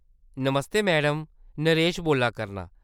नमस्ते madam. Naresh बोल्ला करनां।